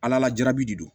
Ala lajabi de do